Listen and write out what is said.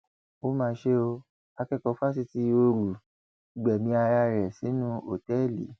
ó mà ṣe o akẹkọọ fásitì ooru gbẹmí ara rẹ sínú òtẹẹlì